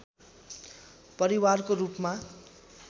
परिवारको रूपमा